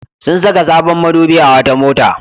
Sun saka sabon madubi a wata mota.